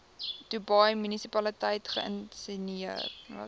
dubai munisipaliteit geïnisieer